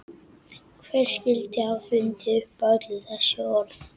Hver skyldi hafa fundið upp öll þessi orð?